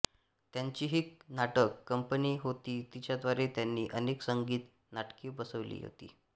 त्यांचीही नाटक कंपनी होती तिच्याद्वारे त्यांनी अनेक संगीत नाटके बसविली होती